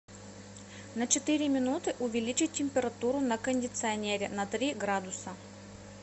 на четыре минуты увеличить температуру на кондиционере на три градуса